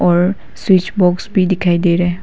और switch box भी दिखाई दे रहा है।